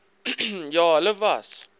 ja hulle was